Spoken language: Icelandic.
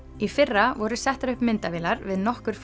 í fyrra voru settar upp myndavélar við nokkur